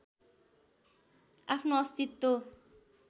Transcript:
आफ्नो अस्तित्व